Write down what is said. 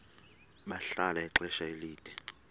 bahlala ixesha elide